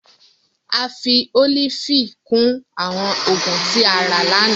A fi olifi kun awọn oogun ti a ra lana.